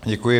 Děkuji.